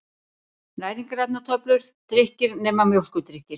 Næringarefnatöflur: Drykkir, nema mjólkurdrykkir.